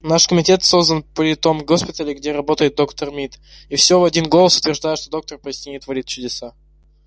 наш комитет создан при том госпитале где работает доктор мид и все в один голос утверждают что доктор поистине творит чудеса